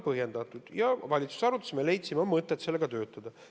Me valitsuses arutasime ja leidsime, et on mõtet selle kallal töötada.